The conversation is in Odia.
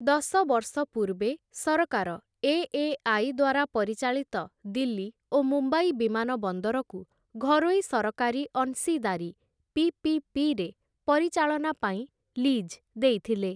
ଦଶ ବର୍ଷ ପୂର୍ବେ ସରକାର ଏ.ଏ.ଆଇ. ଦ୍ୱାରା ପରିଚାଳିତ ଦିଲ୍ଲୀ ଓ ମୁମ୍ବାଇ ବିମାନ ବନ୍ଦରକୁ ଘରୋଇ ସରକାରୀ ଅଂଶୀଦାରୀ ପି.ପି.ପି.ରେ ପରିଚାଳନା ପାଇଁ ଲିଜ୍ ଦେଇଥିଲେ ।